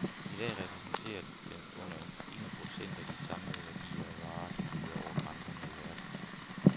I dag repræsenterer den under en procent af de samlede værdier af varer, der glider over grænserne i verden.